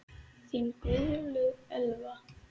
Þín Guðlaug Elfa.